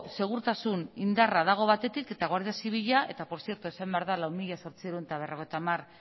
segurtasun indarra dago batetik eta guardia zibila eta por tzierto esan behar da lau mila zortziehun eta berrogeita hamar